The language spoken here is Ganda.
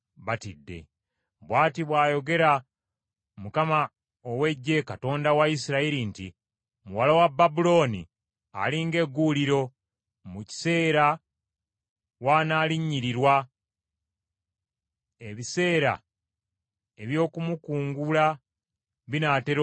Bw’ati bw’ayogera Mukama ow’Eggye, Katonda wa Isirayiri nti, “Muwala wa Babulooni ali ng’egguuliro, mu kiseera w’analinnyiririrwa; ebiseera eby’okumukungula binaatera okutuuka.”